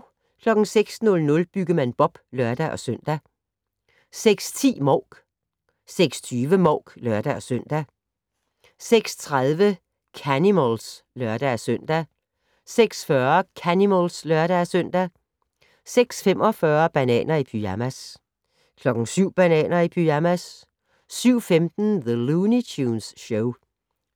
06:00: Byggemand Bob (lør-søn) 06:10: Mouk 06:20: Mouk (lør-søn) 06:30: Canimals (lør-søn) 06:40: Canimals (lør-søn) 06:45: Bananer i pyjamas 07:00: Bananer i pyjamas 07:15: The Looney Tunes Show